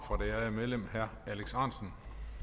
ærede medlem herre alex ahrendtsen